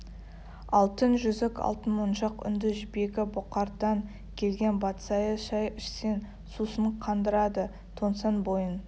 алтын жүзік алтын моншақ үнді жібегі бұқардан келген батсайы шай ішсең сусын қандырады тоңсаң бойың